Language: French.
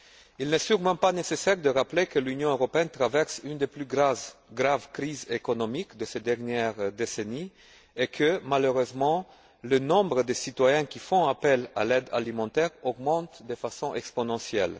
Il n'est sûrement pas nécessaire de rappeler que l'Union européenne traverse une des plus graves crises économiques de ces dernières décennies et que, malheureusement, le nombre de citoyens qui font appel à l'aide alimentaire augmente de façon exponentielle.